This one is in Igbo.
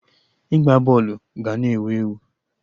Ịgba bọọlụ ga na ewu ewu